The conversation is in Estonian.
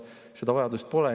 Seda vajadust pole.